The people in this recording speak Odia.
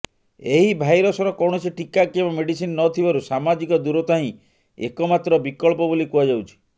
ଏହି ଭାଇରସର କୌଣସି ଟୀକା କିମ୍ବା ମେଡିସିନ ନଥିବାରୁ ସାମାଜିକ ଦୂରତା ହିଁ ଏକମାତ୍ର ବିକଳ୍ପ ବୋଲି କୁହାଯାଉଛି